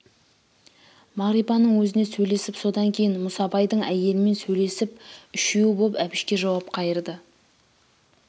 мағрипаның өзіне сөйлесіп содан кейін мұсабайдың әйелімен сөйлесіп үшеуі боп әбішке жауап қайырды